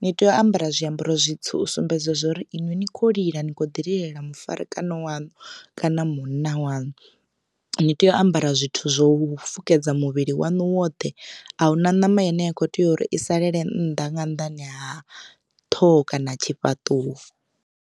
ni tea u ambara zwiambaro zwitswu u sumbedza zwori iṅwi ni kho lila ni kho ḓi lilela mufarekano waṋu kana munna waṋu ni tea u ambara zwithu zwo fukedza muvhili wanu woṱhe ahuna ṋama ine ya kho tea uri i salele nnḓa nga nnḓani ha ṱhoho kana tshifhaṱuwo.